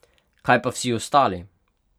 Kaj pa vsi ostali?